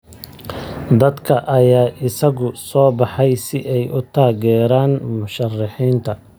Dadka ayaa isugu soo baxay si ay u taageeraan musharaxiinta.